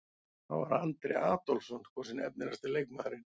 Þá var Andri Adolphsson kosinn efnilegasti leikmaðurinn.